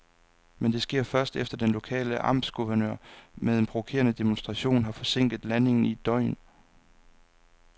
Men det sker først, efter at den lokale amtsguvernør med en provokerende demonstration har forsinket landingen i et døgn.